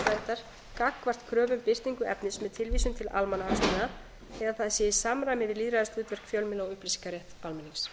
einkalífsverndar gagnvart kröfu um birtingu efnis með tilvísun til almannahagsmuna eða það sé í samræmi við lýðræðishlutverk fjölmiðla og upplýsingarétt almennings